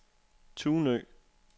Tunø